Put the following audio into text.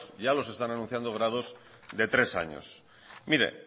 ya los están anunciando de tres años mire